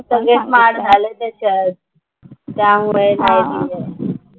सगळे स्मार्ट झाले त्याच्यात, त्यामुळे नाही आहे.